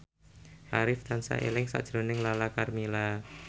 Arif tansah eling sakjroning Lala Karmela